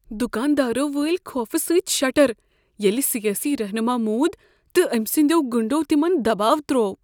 دکاندارو وٲلۍ خوفہٕ سٕتہِ شٹر ییٚلہ سیٲسی رہنما موٗد تہٕ أمہِ سٕنٛدیو گنٛڈو تمن دباو تروو۔